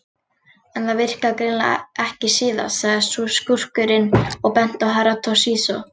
En það virkaði greinilega ekki síðast, sagði skúrkurinn og benti á Herra Toshizo.